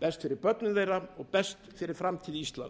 fyrir börnin þeirra og framtíð íslands